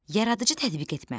Yaradıcı tətbiq etmə.